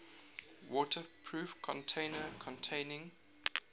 waterproof container containing